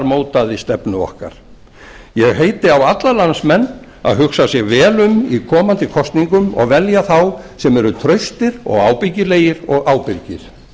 mótaði stefnu okkar ég heiti á alla landsmenn að hugsa sig vel um í komandi kosningum og velja þá sem eru traustir og ábyggilegir og ábyrgir